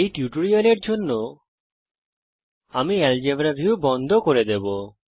এই টিউটোরিয়ালের জন্য আমি আলজেব্রা ভিউ বন্ধ করে দেবো